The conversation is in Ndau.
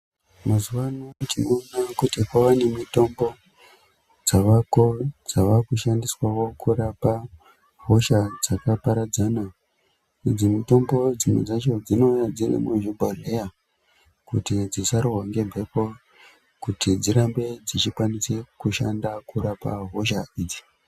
Mazuwa ano tinoona kuti kwava nemitombo dzavako dzaakushandiswawo kurapa hosha dzakaparadzana idzi mitombo dzimwe dzacho dzinouya dziri muzvibhodhleya kuti dzisarohwa ngemhepo kuti dzirambe dzichishanda kurapa hosha idzi.